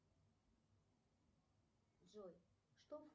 джой что